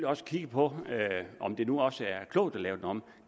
også kigge på om det nu også er klogt at lave den om